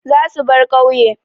Za su bar ƙauye.